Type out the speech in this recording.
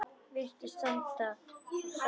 Virðist standa á sama.